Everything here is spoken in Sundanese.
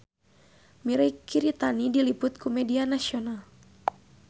Mirei Kiritani diliput ku media nasional